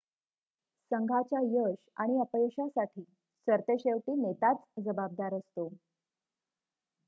संघाच्या यश आणि अपयशासाठी सरतेशेवटी नेताच जबाबदार असतो